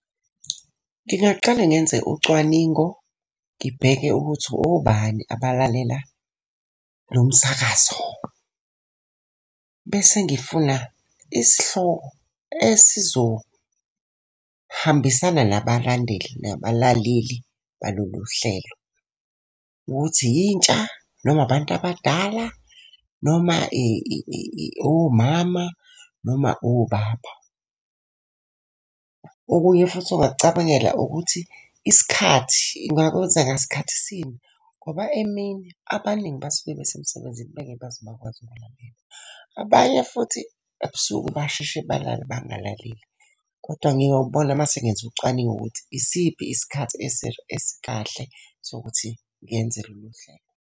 Ngingaqale ngenze ucwaningo, ngibheke ukuthi obani abalalela lo msakazo. Bese ngifuna isihloko esizohambisana nabalandeli nabalaleli balolu hlelo. Ukuthi yintsha noma abantu abadala noma omama noma obaba. Okunye futhi ongakucabangela ukuthi isikhathi, ungakwenza ngasikhathi sini? Ngoba emini abaningi basuke besemsebenzini bengeke baze bakwazi ukuyolalela. Abanye futhi ebusuku basheshe balale bangalaleli. Kodwa ngiyobona mase ngenza ucwaningo ukuthi isiphi isikhathi esikahle sokuthi ngenze lolu hlelo.